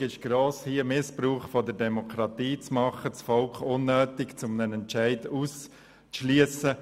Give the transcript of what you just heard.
Die Versuchung ist gross, Missbrauch an der Demokratie zu betreiben und das Volk unnötig von einem Entscheid auszuschliessen.